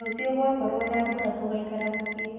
Rũcio gwakorwo na mbura tũgaikara mũciĩ.